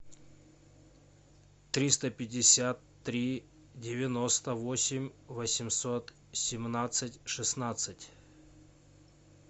триста пятьдесят три девяносто восемь восемьсот семнадцать шестнадцать